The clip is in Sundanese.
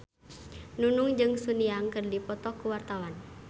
Nunung jeung Sun Yang keur dipoto ku wartawan